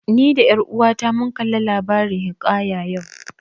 Ni da ƴar uwata mun kalla labarin hiƙaya yau